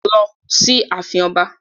Lọ sí ààfin Ọba.